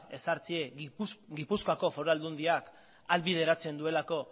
ezartzea gipuzkoako foru aldundiak ahalbideratzen duelako